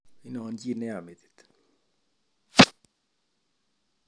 Wonon chi neya metit